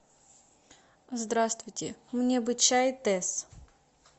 здравствуйте мне бы чай тесс